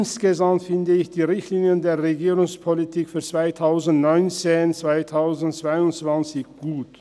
Insgesamt finde ich die Richtlinien der Regierungspolitik für die Jahre 2019–2022 gut.